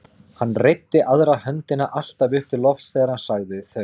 Hann reiddi aðra höndina alltaf upp til lofts þegar hann sagði þau.